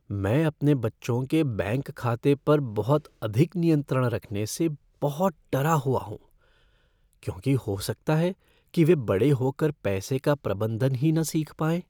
मैं अपने बच्चों के बैंक खाते पर बहुत अधिक नियंत्रण रखने से बहुत डरा हुआ हूँ क्योंकि हो सकता है कि वे बड़े हो कर पैसे का प्रबंधन ही न सीख पाएँ।